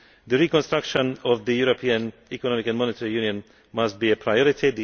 The reconstruction of the European Economic and Monetary Union must be a priority.